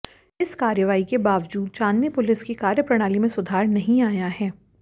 इस कार्रवाई के बावजूद चांदनी पुलिस की कार्यप्रणाली में सुधार नहीं आया है